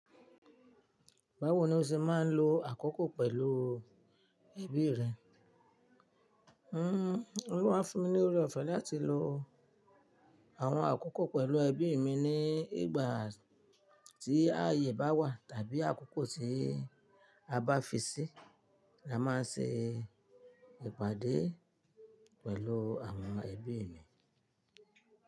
Báwo ni o ṣe máa ń lo àkókò pẹ̀lú ẹbí rẹ? Ọlọ́run á fúnmí ní orí ọ̀fẹ́ láti lo àwọn àkókò pẹ̀lú ẹbí mi ní ìgbà tí áyè bá wà, tàbí àkókò tí a bá fi sí, là má n ṣe ìpàdé pẹ̀lú àwọn ẹbí mi.